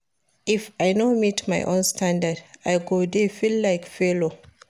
If I no meet my own standard, I go dey feel like failure.